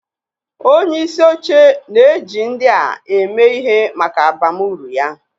Onyeisi oche na-eji ndị a eme ihe maka abamuru ya.